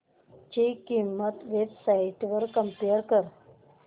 ची किंमत websites वर कम्पेअर कर